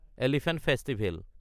elephant festival